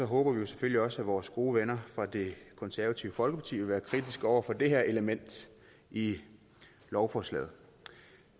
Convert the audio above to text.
håber vi jo selvfølgelig også at vores gode venner fra det konservative folkeparti vil være kritiske over for det her element i lovforslaget